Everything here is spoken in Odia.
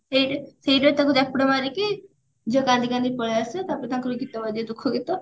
ସେଇ ସେଇଟା ତାକୁ ଚାପୁଡା ମାରିକି ଝିଅ କାନ୍ଦି କାନ୍ଦି ପଳେଇଆସିବ ତାପରେ ତାଙ୍କର ଗୀତ ବାଯିବ ଦୁଖ ଗୀତ